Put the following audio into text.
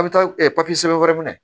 A bɛ taa sɛbɛn wɛrɛ minɛ